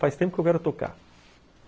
Faz tempo que eu quero tocar.